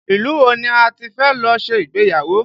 Ilu wo ni a ti fẹ́ lọ ṣe ìgbéyàwó?